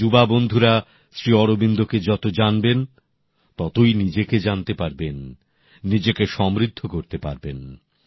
আমার যুবক বন্ধুরা শ্রী অরবিন্দকে যত জানবেন ততই নিজেকে জানতে পারবেন নিজেকে সমৃদ্ধ করতে পারবেন